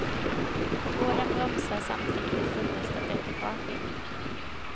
På gården bromsar samtidigt ett fullastat ekipage in.